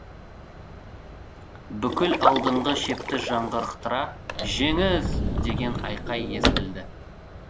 бүкіл алдыңғы шепті жаңғырықтыра жеңіс деген айқай естілді